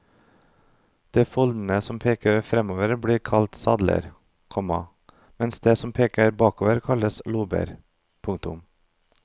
De foldene som peker fremover blir kalt sadler, komma mens de som peker bakover kalles lober. punktum